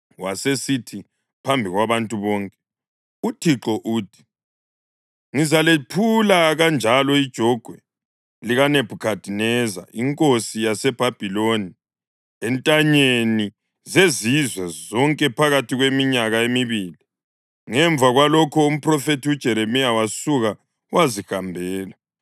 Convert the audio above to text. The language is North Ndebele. wasesithi phambi kwabantu bonke, “ UThixo uthi: ‘Ngizalephula kanjalo ijogwe likaNebhukhadineza inkosi yaseBhabhiloni entanyeni zezizwe zonke phakathi kweminyaka emibili.’ ” Ngemva kwalokho umphrofethi uJeremiya wasuka wazihambela.